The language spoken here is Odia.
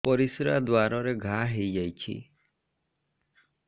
ପରିଶ୍ରା ଦ୍ୱାର ରେ ଘା ହେଇଯାଇଛି